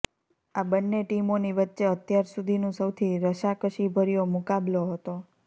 આ બંન્ને ટીમોની વચ્ચે અત્યાર સુધીનું સૌથી રસાકસીભર્યો મુકાબલો હતો